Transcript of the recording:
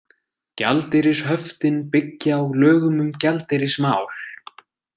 Gjaldeyrishöftin byggja á lögum um gjaldeyrismál.